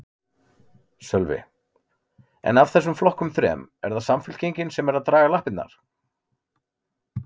Sölvi: En af þessum flokkum þrem, er það Samfylkingin sem er að draga lappirnar?